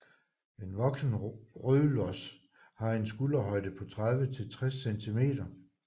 En voksen rødlos har en skulderhøjde på 30 til 60 cm